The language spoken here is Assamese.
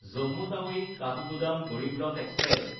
জম্মু টাৱি–কাঠগোদাম গড়ীব ৰথ এক্সপ্ৰেছ